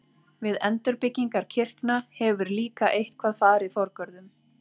Við endurbyggingar kirkna hefur líka eitthvað farið forgörðum.